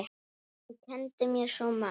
Hún kenndi mér svo margt.